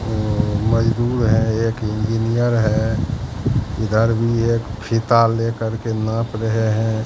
अ मजदूर है एक इंजीनियर है इधर भी एक फीता लेकर के नाप रहे हैं।